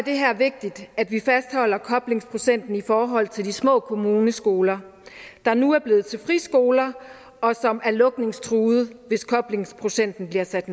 det her vigtigt at vi fastholder koblingsprocenten i forhold til de små kommuneskoler der nu er blevet til friskoler og som er lukningstruede hvis koblingsprocenten bliver sat